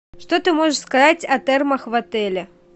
что ты можешь сказать о термах в отеле